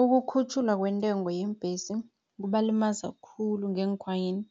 Ukukhutjhulwa kwentengo yeembhesi, kubalimaza khulu ngeenkhwanyeni